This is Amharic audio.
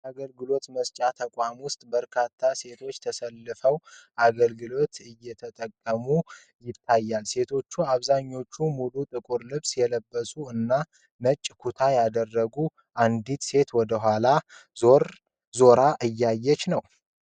በአንድ አገልግሎት መስጫ ተቋም ውስጥ በርካታ ሴቶች ተሰልፈው አገልግሎት እየተጠቀሙ ያሳያል። ሴቶቹ አብዛኀኞቹ ሙሉ ጥቁር ልብስ የለበሱ እና ነጭ ኩታ ያደረገች አንዲት ሴት ወደኋላ ዙራ ታወራለች።